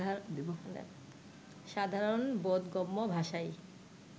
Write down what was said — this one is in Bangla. সাধারণ বোধগম্য ভাষাই